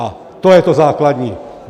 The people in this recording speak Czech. A to je to základní.